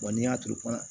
Wa n'i y'a turu